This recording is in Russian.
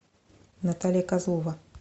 наталья козлова